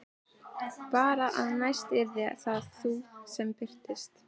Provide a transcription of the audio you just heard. Bara að næst yrðir það þú sem birtist.